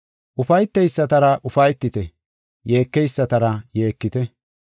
Ufayteysatara ufaytite; yeekeysatara yeekite.